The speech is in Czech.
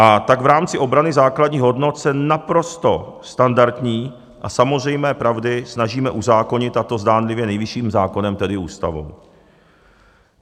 A tak v rámci obrany základních hodnot se naprosto standardní a samozřejmé pravdy snažíme uzákonit, a to zdánlivě nejvyšším zákonem, tedy Ústavou.